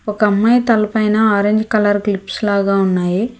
ఒక అమ్మాయి తలపైన ఆరెంజ్ కలర్ క్లిప్స్ లాగా ఉన్నాయి.